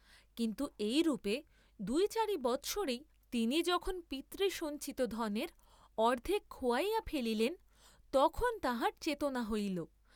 কিন্তু এই রূপে দুই চারি বৎসরেই তিনি যখন পিতৃসঞ্চিত ধনের অর্দ্ধেক খােয়াইয়া ফেলিলেন তখন তাঁহার চেতনা হইল।